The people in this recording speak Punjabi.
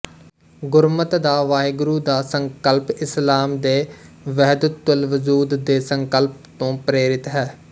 ਗੁਰਮਤਿ ਦਾ ਵਾਹਿਗੁਰੂ ਦਾ ਸੰਕਲਪ ਇਸਲਾਮ ਦੇ ਵਹਿਦਤੁਲਵਜੂਦ ਦੇ ਸੰਕਲਪ ਤੋੰ ਪ੍ਰੇਰਿਤ ਹੈ